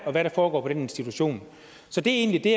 og hvad der foregår på den institution så det er egentlig det